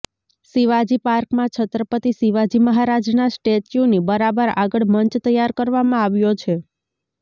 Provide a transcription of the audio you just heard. શિવાજી પાર્કમાં છત્રપતિ શિવાજી મહારાજના સ્ટેચ્યુની બરાબર આગળ મંચ તૈયાર કરવામાં આવ્યો છે